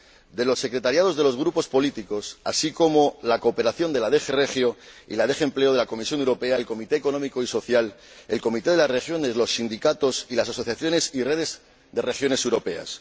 de las secretarías de los grupos políticos, así como la cooperación de la DG Regio y la DG Empleo de la Comisión Europea, el Comité Económico y Social Europeo, el Comité de las Regiones, los sindicatos y las asociaciones y redes de regiones europeas.